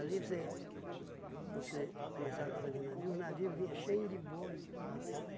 você você começava a fazer navio, o navio vinha cheinho de boi.